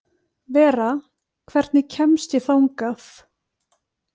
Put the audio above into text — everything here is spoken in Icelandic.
Vera, hvernig kemst ég þangað?